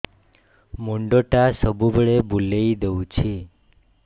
ମୁଣ୍ଡଟା ସବୁବେଳେ ବୁଲେଇ ଦଉଛି